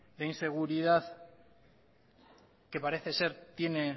de inseguridad que parece ser tiene